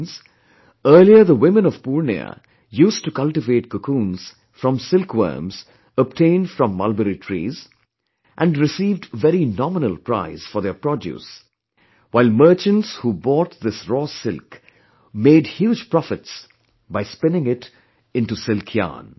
Friends, earlier the women of Purnia used to cultivate cocoons from silkworms obtained from Mulberry trees, and received very nominal price for their produce, while merchants who bought this raw silk made huge profits by spinning it into silk yarn